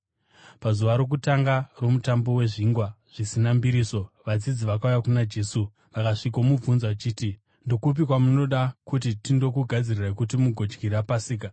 Pazuva rokutanga roMutambo weZvingwa Zvisina Mbiriso, vadzidzi vakauya kuna Jesu vakasvikomubvunza vachiti, “Ndokupi kwamunoda kuti tindokugadzirirai kuti mugodyira Pasika?”